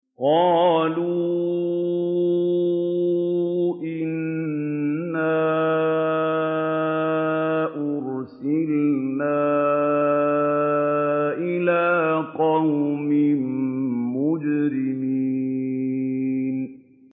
قَالُوا إِنَّا أُرْسِلْنَا إِلَىٰ قَوْمٍ مُّجْرِمِينَ